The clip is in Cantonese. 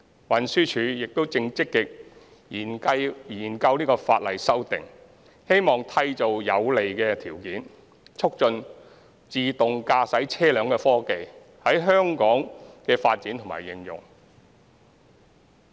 運輸署亦正積極研究法例修訂，希望締造有利條件，促進自動駕駛車輛科技在香港的發展和應用。